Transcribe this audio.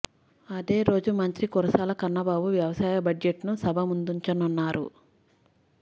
అదే రోజు మంత్రి కురసాల కన్నబాబు వ్యవసాయ బడ్జెట్ను సభ ముందుంచనున్నారు